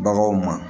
Baganw ma